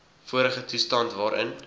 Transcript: vorige toestand waarin